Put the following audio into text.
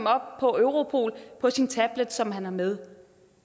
op på europol på sin tablet som man har med